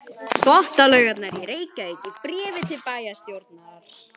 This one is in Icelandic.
Þvottalaugarnar í Reykjavík í bréfi til bæjarstjórnar.